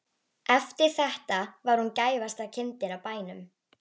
Eftir þetta var hún gæfasta kindin á bænum.